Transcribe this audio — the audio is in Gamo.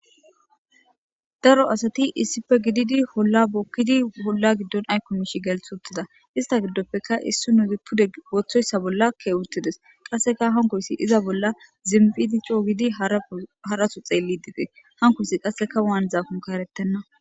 daro asati issippe gididi olla bokkidi olla giddon ayko mishi gelith uttida ista giddoppeka issinoz pude wothoyssa bollakke uttides qasseka hankoyssi iza bolla zimpidi coo gidi haraso xeelli dees hanikoyis qasseka waanizakkonne eretena